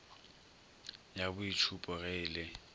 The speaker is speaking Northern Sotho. ya boitšhupo ge e le